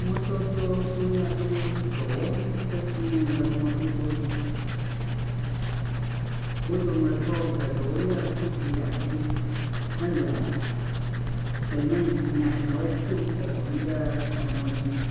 Mɔdododola aɖewo dɔ wɔm sesie le mɔdodo dzi. Wo dometɔ geɖewo le sofi ɖe asi hele simiti nyanyawo kum kɔkɔm ɖe mɔ dzi.